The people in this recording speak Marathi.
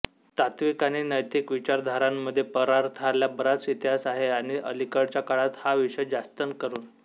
तात्विक आणि नैतिक विचारधारांमध्ये परार्थाला बराच इतिहास आहे आणि अलीकडच्या काळात हा विषय जास्तंकरून